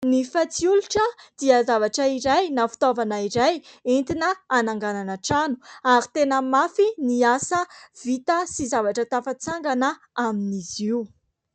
Ny fatsiolotra dia zavatra iray na fitaovana iray entina hananganana trano ary tena mafy ny asa vita sy zavatra tafatsangana amin'izy io.